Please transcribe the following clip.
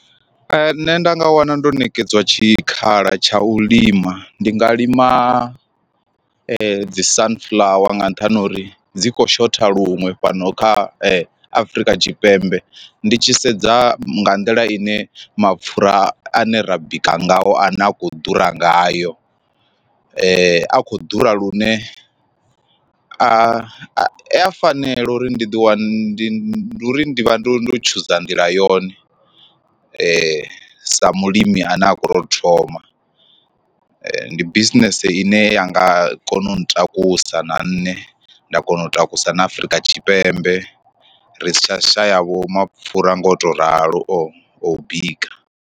Nṋe nda nga wana ndo ṋekedzwa tshikhala tsha u lima ndi nga lima dzi sunflower nga nṱhani ha uri dzi kho shotha luṅwe fhano kha Afrika Tshipembe, ndi tshi sedza nga nḓila ine mapfura ane ra bika ngao a ne a khou ḓura ngayo ane a kho ḓura lune a a ya fanela uri ndi ḓi wana ndi ndi uri ndi vha ndo ndo tshuza ndila, yone sa mulimi ane a khou tou thoma. Ndi bisinese ine ya nga kona u ntakusa na nne nda kona u takusa na Afrika Tshipembe ri si tsha shaya vho mapfura nga u to ralo o bika.